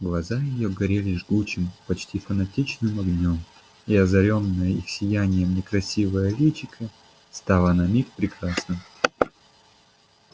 глаза её горели жгучим почти фанатичным огнём и озарённое их сиянием некрасивое личико стало на миг прекрасным